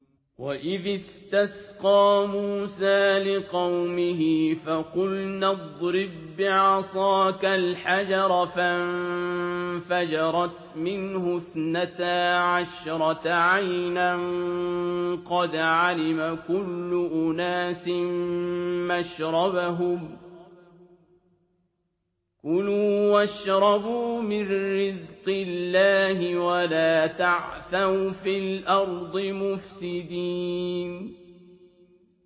۞ وَإِذِ اسْتَسْقَىٰ مُوسَىٰ لِقَوْمِهِ فَقُلْنَا اضْرِب بِّعَصَاكَ الْحَجَرَ ۖ فَانفَجَرَتْ مِنْهُ اثْنَتَا عَشْرَةَ عَيْنًا ۖ قَدْ عَلِمَ كُلُّ أُنَاسٍ مَّشْرَبَهُمْ ۖ كُلُوا وَاشْرَبُوا مِن رِّزْقِ اللَّهِ وَلَا تَعْثَوْا فِي الْأَرْضِ مُفْسِدِينَ